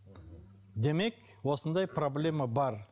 демек осындай проблема бар